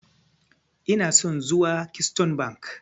Ina son zuwa Keystone Bank.